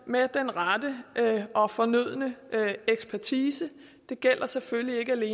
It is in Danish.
med den rette og fornødne ekspertise det gælder selvfølgelig